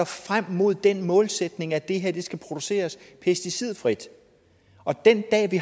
frem mod den målsætning at det her skal produceres pesticidfrit og den dag